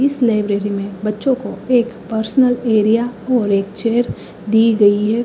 इस नए मे बच्चों को एक पार्सनल एरिया और चेयर दी गई है।